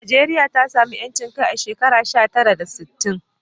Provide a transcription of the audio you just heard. Najeriya ta samu 'yancin kai a shekara sha tara da sittin.